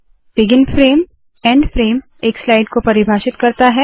begin frame end frame एक slide को परिभाषित करता है